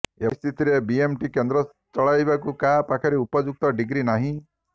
ଏଭଳିସ୍ଥିତିରେ BMT କେନ୍ଦ୍ର ଚଲାଇବାକୁ କାହା ପାଖରେ ଉପଯୁକ୍ତ ଡିଗ୍ରି ନାହିଁ